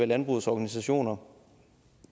landbrugets organisationer